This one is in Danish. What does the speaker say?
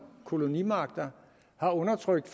kolonimagter undertrykt